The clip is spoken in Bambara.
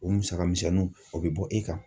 O musaka misɛnnu ma o be bɔ e kan.